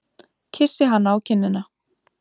Kyssi hana á kinnina.